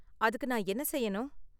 அதுக்கு நான் என்ன செய்யணும்?